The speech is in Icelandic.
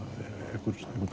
einhvern